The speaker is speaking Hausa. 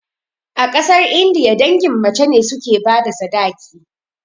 A ƙasar indiya, dangin mace ne suke bada sadaki